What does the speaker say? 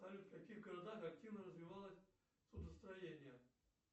салют в каких городах активно развивалось судостроение